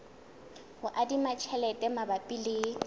ho adima tjhelete mabapi le